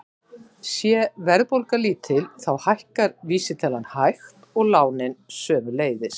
Sé verðbólga lítil þá hækkar vísitalan hægt og lánin sömuleiðis.